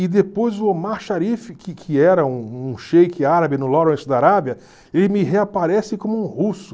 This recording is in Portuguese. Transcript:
E depois o Omar Sharif, que que era um um sheik árabe no Lawrence da Arábia, ele me reaparece como um russo.